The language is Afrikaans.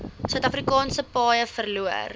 suidafrikaanse paaie verloor